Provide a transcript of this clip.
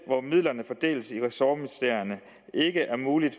hvor midlerne fordeles i ressortministerierne ikke er muligt